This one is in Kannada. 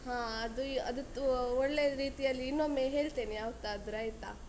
ಹಾ ಅದು ಅದೂ ತು ಒಳ್ಳೆರೀತಿಯಲ್ಲಿ ಇನೊಮ್ಮೆ ಹೇಳ್ತೇನೆ, ಯಾವತ್ತಾದ್ರೂ ಆಯ್ತಾ.